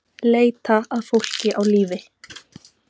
Leita að fólki á lífi